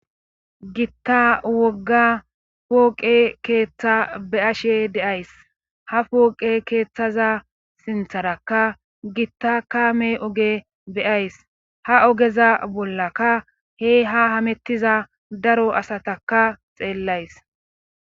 Gitta wogga pooqe keeththa beashe deays ha pooqe keeththaza sintharakka gitta kame oge beyays ha ogeza bollaka he ha hamettiza daro asataka xeellays